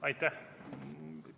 Aitäh!